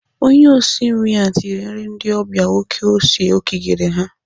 Onye osi nri ahụ tinyere nri ndị ọbịa oké ose o kigere ha.